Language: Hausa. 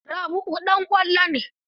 Rabi'u ɗan ƙwallo ne.